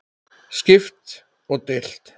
Skipt og deilt